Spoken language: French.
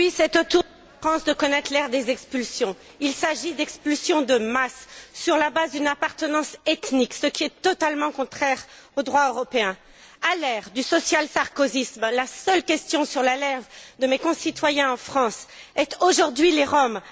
Oui, c'est au tour de la France de connaître l'ère des expulsions. Il s'agit d'expulsions de masse sur la base d'une appartenance ethnique, ce qui est totalement contraire au droit européen. À l'ère du social sarkozisme, la seule question présente sur les lèvres de mes concitoyens en France est Aujourd'hui les Roms.